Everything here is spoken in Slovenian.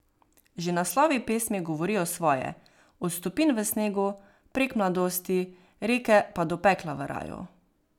Že naslovi pesmi govorijo svoje, od stopinj v snegu, prek mladosti, reke pa do pekla v raju.